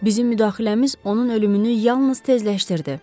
Bizim müdaxiləmiz onun ölümünü yalnız tezləşdirdi.